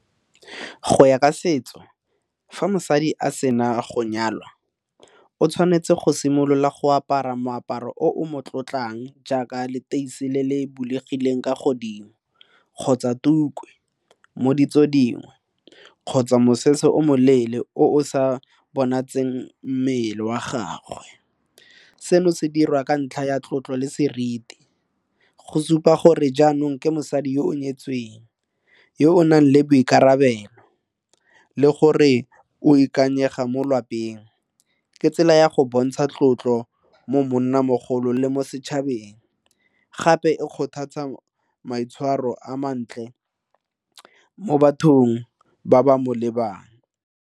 Go ya ka setso, fa mosadi a sena go nyalwa o tshwanetse go simolola go apara moaparo o mo tlotlang jaaka leteisi le le bulegileng ka godimo kgotsa tuku mo ditso dingwe kgotsa mosese o moleele o sa bonatseng mmele wa gagwe. Seno se dira ka ntlha ya tlotlo le seriti go supa gore jaanong ke mosadi yo o nyetsweng yo o nang le boikarabelo le gore o ikanyega mo lwapeng ke tsela ya go bontsha tlotlo, mo monnamogolo le mo setšhabeng gape e kgothatsa maitshwaro a mantle mo bathong ba ba mo lebang.